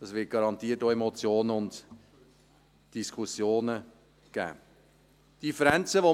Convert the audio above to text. Das wird garantiert auch Emotionen und Diskussionen geben.